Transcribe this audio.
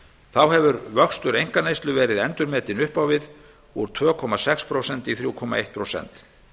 þá hefur vöxtur einkaneyslu verið endurmetinn upp á við úr tveimur komma sex prósent í þrjú komma eitt prósent